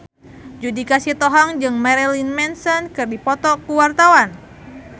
Judika Sitohang jeung Marilyn Manson keur dipoto ku wartawan